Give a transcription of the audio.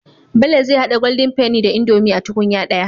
Bello zai hada golden penny da indomie a tukunya daya